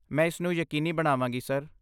ਮੈਂ ਇਸ ਨੂੰ ਯਕੀਨੀ ਬਣਾਵਾਂਗੀ, ਸਰ।